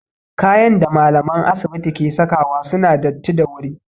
Kayan da malamae asibiti ke sakawa suna datti da wuri